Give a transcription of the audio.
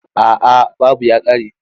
A'a babu ya ƙare.